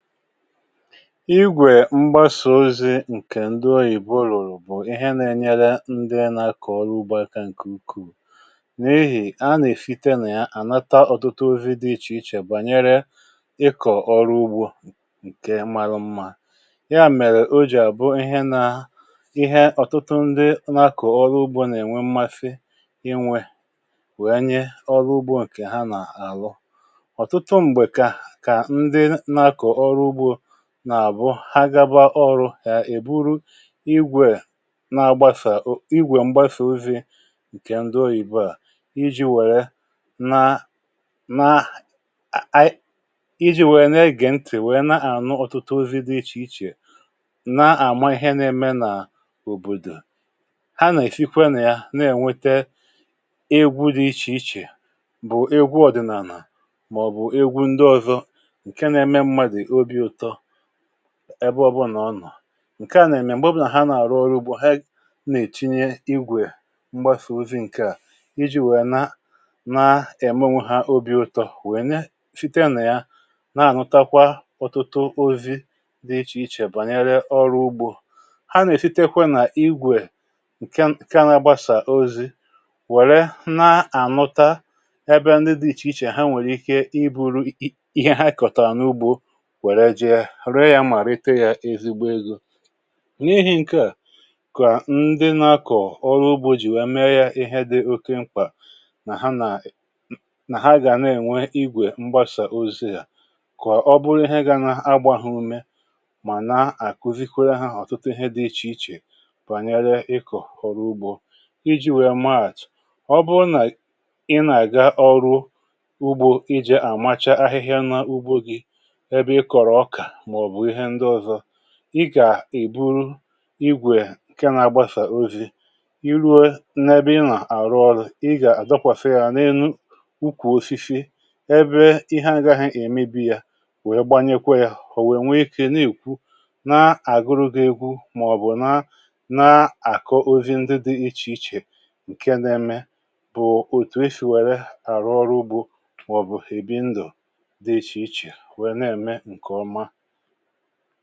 Ịgwè mgbasa ozi̇ ǹkè ndị ọyịbọ ọrụ ùrụ̀ bụ̀ ihe nȧ-ėnyere ndị nȧkọ̀ ọrụ ugbȯ akȧ ǹkè ukwuù, n’ihì a nà-èfite nà ya ànata ọtụtụ ozi̇ dị ichè ichè bànyere ịkọ̀ ọrụ ugbȯ ǹkè malụ mmȧ. ya mèrè o jì àbụo ihe nȧ ihe ọ̀tụtụ ndị nȧ-akọ̀ ọrụ ugbȯ nà-ènwe mmafị inwė wèe nye ọrụ ugbȯ ǹkè ha nà-àrọ. Ọtụtụ mgbe ka, ka ndị na akọ ọrụ ụgbọ nà àbụ ha gaba ọrụ̇ ya èburu igwè mgbasa ozi̇ ǹkè ndụọ ìbụà, iji̇ wère na naa iji̇ wèe nà egè ntì, wèe na-ànụ ọtụtụ ozi̇ dị ichè ichè, na-àma ihe na-eme nà òbòdò. ha nà èfekwa nà ya na-ènwete egwu dị ichè ichè bụ̀ egwu ọ̀dịnàlà, màọ̀bụ̀ egwu ndị ọzọ nke na eme mmadụ ọbị ụtọ ebe ọbụnà ọ nọ̀. Nke à nà-èmè m̀gbè ọbụnà ha nà-àrụ ọrụ ugbȯ ha na-èchinye igwè mgbasà ozi ǹke à, iji̇ nwèrè na na-èmomwe ha obi̇ ụtọ̇, nwèrè nafite nà ya na-ànụtakwa ọtụtụ ozi̇ dị ichè ichè bànyere ọrụ ugbȯ. Ha nà-èfitekwa nà igwè ǹke anagbasà ozi̇ wère na-ànụta ebe ndị dị ichè ichè ichè ha nwèrè ike ibu̇ru ihe ha kọ̀tàrà n’ugbȯ wèrè iji̇ rėė ya mà rite yȧ ezigbo egȯ. N’ihi ǹkeà kà ndị nȧkọ̀ ọrụ ugbȯ jì wee mee ya ihe dị oke mkpà nà ha gà na-ènwe igwè mgbasa ozi̇ à, kà ọ bụrụ ihe gȧ na-agbȧhụ ume, mà na-àkùzikwere ha hȧ ọ̀tụtụ ihe dị ichè ichè bànyere ịkọ̀ ọrụ ugbȯ. iji̇ wee maat, ọ bụrụ nà ị nà-àga ọrụ ugbȯ ijè àmacha ahịhịa nȧ ugbȯ gị, ebe ịkọrụ ọka maọbụ ịhe ndị ọzọ, ị gà-èburu igwè ǹke na-agbasà ozi, i ruwe n’ebe ị nà-àrụ ọrụ̇ ị gà-àdọkwàsa ya n’elu ukwù osisi ebe ihe ȧgahị̇ èmebi̇, yȧ wèe gbanyekwa yȧ họ̀ọ̀ wèe nwee ikė nà-èkwu na-àgụrụ gị̇ egwu màọ̀bụ̀ na na-àkọ ozi ndị dị ịchì ịchè ǹke na-eme bụ̀ òtù e shì wère àrụ ọrụ ugbȯ màọ̀bụ̀ èbi ndụ̀ dị ịchè ịchè foto.